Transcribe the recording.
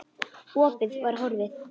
Opið var horfið.